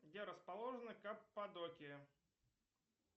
где расположена каппадокия